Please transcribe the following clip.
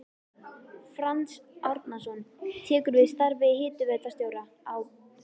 Franz Árnason tekur við starfi hitaveitustjóra á